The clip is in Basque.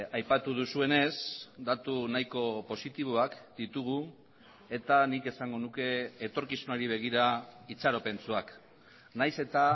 aipatu duzuenez datu nahiko positiboak ditugu eta nik esango nuke etorkizunari begira itxaropentsuak nahiz eta